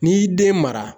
N'i y'i den mara